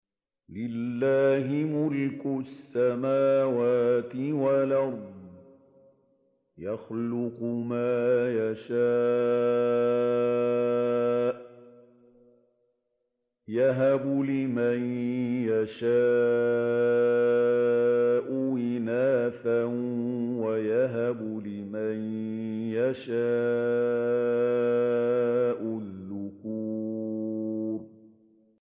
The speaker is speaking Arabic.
لِّلَّهِ مُلْكُ السَّمَاوَاتِ وَالْأَرْضِ ۚ يَخْلُقُ مَا يَشَاءُ ۚ يَهَبُ لِمَن يَشَاءُ إِنَاثًا وَيَهَبُ لِمَن يَشَاءُ الذُّكُورَ